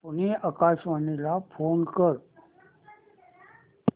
पुणे आकाशवाणीला फोन कर